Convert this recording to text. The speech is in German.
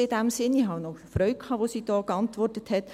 Ich hatte Freude daran, wie sie geantwortet hat.